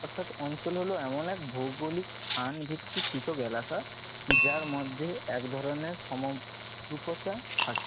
অর্থাৎ অঞ্চল হল এমন এক ভৌগলিক স্থান ভিত্তিক পৃথক এলাকা যার মধ্যে এক ধরনের সমদ্বিকতা থাকে।